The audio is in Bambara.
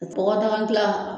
pɔgɔdaga gilan